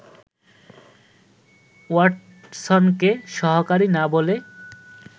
ওয়াটসনকে ‘সহকারী’ না বলে